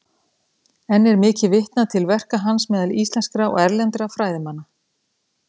Enn er mikið vitnað til verka hans meðal íslenskra og erlendra fræðimanna.